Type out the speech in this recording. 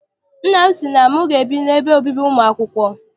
Nna m sị na m ga- ebi n'ebe obibi ụmụ akwụkwọ.